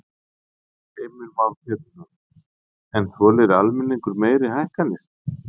Heimir Már Pétursson: En þolir almenningur meiri hækkanir?